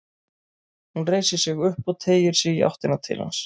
Hún reisir sig upp og teygir sig í áttina til hans.